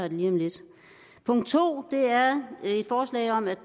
lige om lidt punkt to er et forslag om at